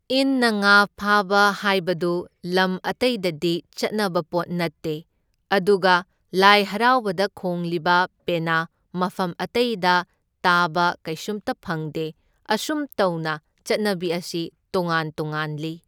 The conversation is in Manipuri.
ꯏꯟꯅ ꯉꯥ ꯐꯥꯕ ꯍꯥꯏꯕꯗꯨ ꯂꯝ ꯑꯇꯩꯗꯗꯤ ꯆꯠꯅꯕ ꯄꯣꯠ ꯅꯠꯇꯦ, ꯑꯗꯨꯒ ꯂꯥꯏ ꯍꯔꯥꯎꯕꯗ ꯈꯣꯡꯂꯤꯕ ꯄꯦꯅꯥ ꯃꯐꯝ ꯑꯇꯩꯗ ꯇꯥꯕ ꯀꯩꯁꯨꯝꯇ ꯐꯪꯗꯦ, ꯑꯁꯨꯝ ꯇꯧꯅ ꯆꯠꯅꯕꯤ ꯑꯁꯤ ꯇꯣꯉꯥꯟ ꯇꯣꯉꯥꯟꯂꯤ꯫